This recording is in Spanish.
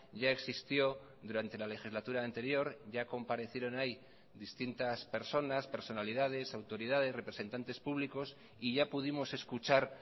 ya existió durante la legislatura anterior ya comparecieron ahí distintas personas personalidades autoridades representantes públicos y ya pudimos escuchar